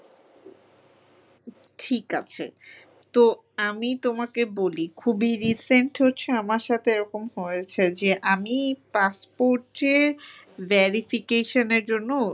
ঠিক আছে। তো আমি তোমাকে বলি খুবই recent হচ্ছে আমার সাথে এরকম হয়েছে যে আমি passport যে verification এর জন্য